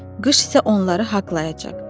Qış isə onları haqlayacaq.